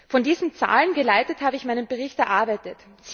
Von diesen Zahlen geleitet habe ich meinen Bericht erarbeitet.